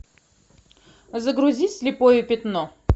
загрузи слепое пятно